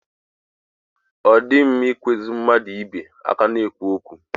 Ọ dịghị mma ị kwụsị mmadụ mgbe ha ka na-ekwu okwu.